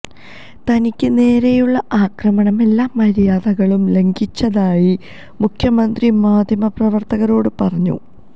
തനിക്ക് നേരെയുള്ള ആക്രമണം എല്ലാ മര്യാദകളും ലംഘിച്ചതായി മുഖ്യമന്ത്രി മാധ്യമപ്രവര്ത്തകരോട് പറഞ്ഞു